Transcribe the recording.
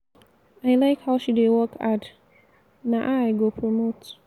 i like how she dey work hard. na her i go promote.